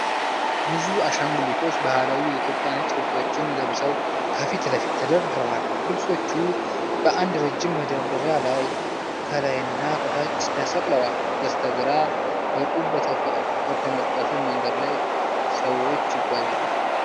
ብዙ አሻንጉልቶች ባህላዊ የኢትዮጵያ ነጭ ልብሶችን ለብሰው ከፊት ለፊት ተደርድረዋል። ልብሶቹ በአንድ ረዥም መደርደሪያ ላይ ከላይና ከታች ተሰቅለዋል። በስተግራ በጡብ በተነጠፈ መንገድ ላይ ሰዎች ይጓዛሉ።